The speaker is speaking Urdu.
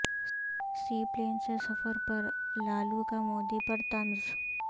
سی پلین سے سفر پر لالو کا مودی پر طنز